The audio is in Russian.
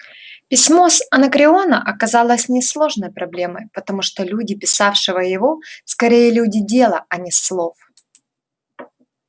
письмо с анакреона оказалось несложной проблемой потому что люди писавшего его скорее люди дела а не слов